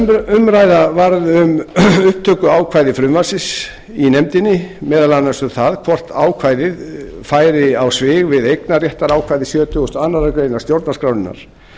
nokkur umræða varð um upptökuákvæði frumvarpsins í nefndinni meðal annars um það hvort ákvæðið færi á svig við eignarréttarákvæði sjötugasta og aðra grein stjórnarskrárinnar